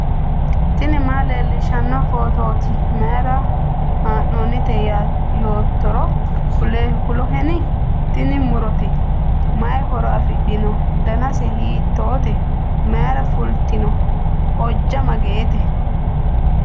tini maa leellishshanno phootooti mayra haa'noonnite yoottoro kuloheni ? tini murote, mayi horo afidhino ? danase hiittoote ? mayira fulitino ? ojja mageete ?